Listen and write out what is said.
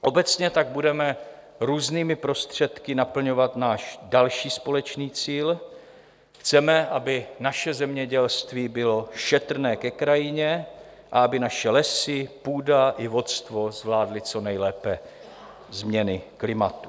Obecně tak budeme různými prostředky naplňovat náš další společný cíl: Chceme, aby naše zemědělství bylo šetrné ke krajině a aby naše lesy, půda i vodstvo zvládly co nejlépe změny klimatu.